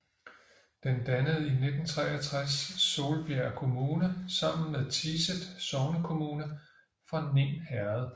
Den dannede i 1963 Solbjerg Kommune sammen med Tiset sognekommune fra Ning Herred